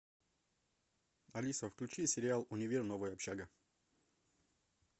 алиса включи сериал универ новая общага